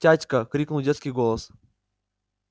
тятька крикнул детский голос